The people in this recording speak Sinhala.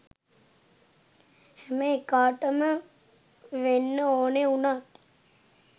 හැම එකාටම වෙන්න ඕන උනත්